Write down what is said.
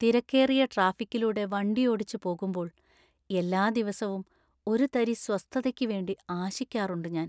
തിരക്കേറിയ ട്രാഫിക്കിലൂടെ വണ്ടിയോടിച്ച് പോകുമ്പോൾ എല്ലാ ദിവസവും ഒരു തരി സ്വസ്ഥതയ്ക്ക് വേണ്ടി ആശിക്കാറുണ്ട് ഞാൻ.